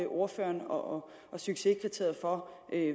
ordføreren og er succeskriteriet for